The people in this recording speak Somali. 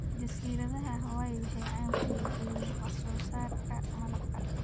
Jasiiradaha Hawai'i waxay caan ku yihiin wax soo saarka malabka.